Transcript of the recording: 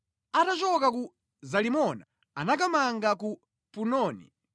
Atachoka ku Zalimoni anakamanga ku Punoni.